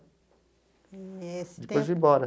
Eh. Depois vim embora.